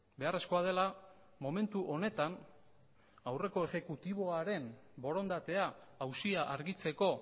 beharrezkoa dela momentu honetan aurreko ejekutiboaren borondatea auzia argitzeko